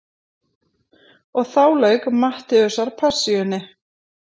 Og þá lauk Mattheusarpassíunni.